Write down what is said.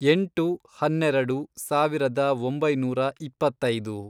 ಎಂಟು, ಹನ್ನೆರೆಡು, ಸಾವಿರದ ಒಂಬೈನೂರ ಇಪ್ಪತ್ತೈದು